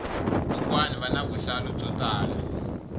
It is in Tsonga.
kokwani vana vuhlalu byo tala